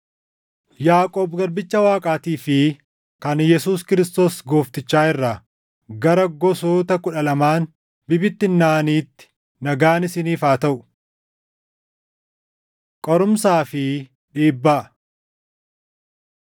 Yaaqoob garbicha Waaqaatii fi kan Yesuus Kiristoos Gooftichaa irraa, Gara gosoota kudha lamaan bibittinnaaʼaniitti: Nagaan isiniif haa taʼu. Qorumsaa fi Dhiibbaa